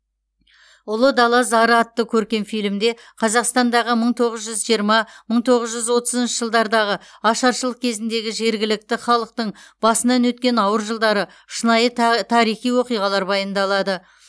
ұлы дала зары атты көркем фильмде қазақстандағы мың тоғыз жүз жиырма мың тоғыз жүз отызыншы жылдардағы ашаршылық кезіндегі жергілікті халықтың басынан өткен ауыр жылдары шынайы таа тарихи оқиғалар баяндалады